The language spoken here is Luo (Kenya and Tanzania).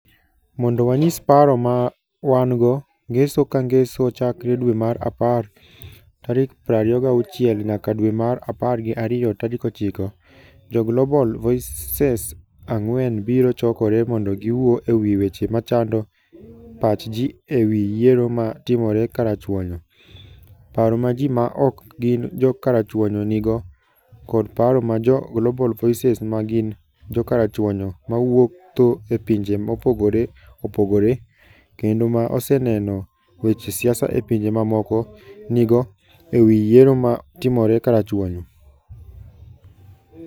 Mondo wanyis paro ma wan - go, Ngeso ka Ngeso, chakre dwe mar apar 26 nyaka dwe mar apar gi ariyo 9, jo Global Voices ang'wen biro chokore mondo giwuo e wi weche machando pach ji e wi yiero ma timore karachuonyo, paro ma ji ma ok gin jo karachuonyo nigo, kod paro ma jo Global Voices ma gin Jo karachuonyo - ma wuotho e pinje mopogore opogore, kendo ma oseneno weche siasa e pinje mamoko - nigo e wi yiero ma timore karachuonyo.